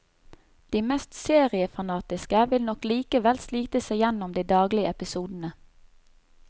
De mest seriefanatiske vil nok likevel slite seg igjennom de daglige episodene.